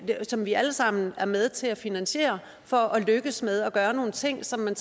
som vi alle sammen er med til at finansiere for at lykkes med at gøre nogle ting som man